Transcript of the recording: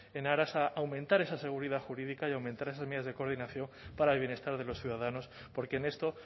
en aras a aumentar esa seguridad jurídica y a aumentar esas medidas de coordinación para el bienestar de los ciudadanos porque en esto